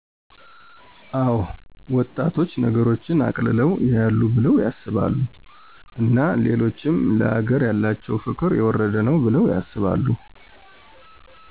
አዎ ወጣቶች ነገሮችን አቅልለው ያያሉ ቢለው ያስባሉ እና ሌሎችም ለአገር ያላቸው ፍቅር የወረደ ነው ባለው ያስባሉ።